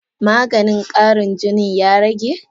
Maganin Karin jinin ya rage?